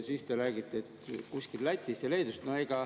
Siis te räägite Lätist ja Leedust.